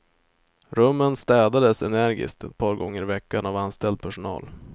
Rummen städades energiskt ett par gånger i veckan av anställd personal.